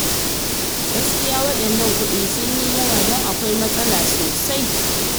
Gaskiya waɗannan kuɗin sun yi yawa, don akwai matsala sosai.